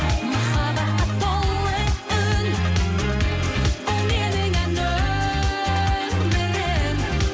махаббатқа толы үн бұл менің ән өмірім